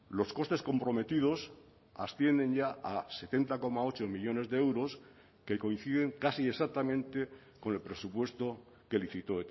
los costes comprometidos ascienden ya a setenta coma ocho millónes de euros que coinciden casi exactamente con el presupuesto que licitó